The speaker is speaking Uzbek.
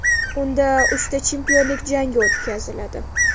Unda uchta chempionlik jangi o‘tkaziladi .